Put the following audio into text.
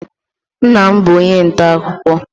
Nna m bụ onye nta akụkọ.